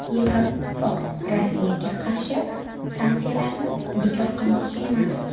Yevroittifoq Rossiyaga qarshi sanksiyalarni bekor qilmoqchi emas.